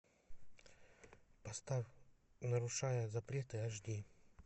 поставь нарушая запреты аш ди